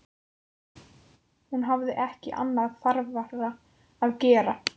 Hún hafði ekki annað þarfara að gera.